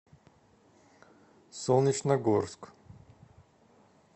солнечногорск